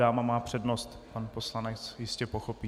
Dáma má přednost, pan poslanec jistě pochopí.